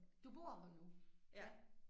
Du bor her nu ja